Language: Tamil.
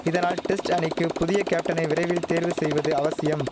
இதனால் டெஸ்ட் அணிக்கு புதிய கேப்டனை விரைவில் தேர்வு செய்வது அவசியம்